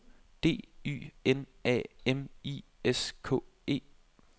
D Y N A M I S K E